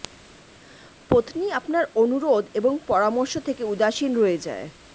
পত্নী আপনার অনুরোধ এবং পরামর্শ থেকে উদাসীন রয়ে যায়